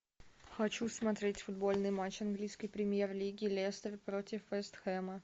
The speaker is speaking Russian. хочу смотреть футбольный матч английской премьер лиги лестер против вест хэма